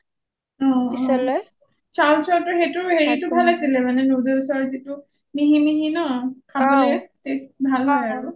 অঅঅ chow chow টোৰ সেইটোৰ হেৰি টো ভাল আছিলে মানে noodles ৰ যিটো মিহি মিহি ন খাবলৈ ভাল হয়